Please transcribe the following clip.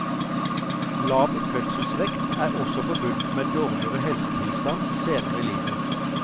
Lav fødselsvekt er også forbundet med dårligere helsetilstand senere i livet.